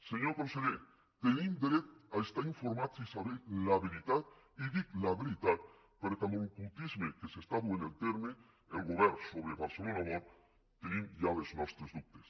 senyor conseller tenim dret a estar informats i saber la veritat i dic la veritat perquè amb l’ocultisme que està duent a terme el govern sobre barcelona world tenim ja els nostres dubtes